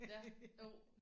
Ja jo